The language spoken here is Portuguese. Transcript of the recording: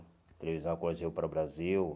A televisão a cores veio para o Brasil, né?